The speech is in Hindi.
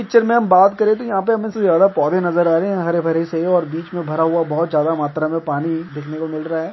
पिक्चर में हम बात करे तो यहां हमे ज्यादा पौधे नजर आ रहे है हरे-भरे से और बीच में भरा हुआ बहुत ज्यादा मात्रा में पानी देखने को मिल रहा है।